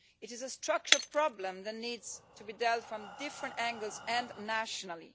It is a structural problem that needs to be dealt with from different angles and nationally.